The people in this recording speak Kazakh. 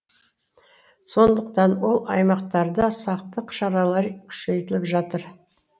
сондықтан ол аймақтарда сақтық шаралары күшейтіліп жатыр